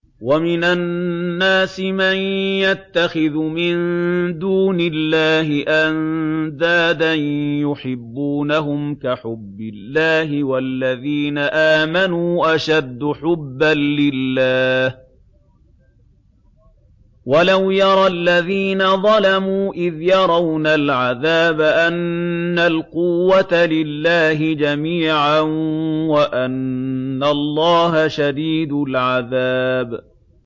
وَمِنَ النَّاسِ مَن يَتَّخِذُ مِن دُونِ اللَّهِ أَندَادًا يُحِبُّونَهُمْ كَحُبِّ اللَّهِ ۖ وَالَّذِينَ آمَنُوا أَشَدُّ حُبًّا لِّلَّهِ ۗ وَلَوْ يَرَى الَّذِينَ ظَلَمُوا إِذْ يَرَوْنَ الْعَذَابَ أَنَّ الْقُوَّةَ لِلَّهِ جَمِيعًا وَأَنَّ اللَّهَ شَدِيدُ الْعَذَابِ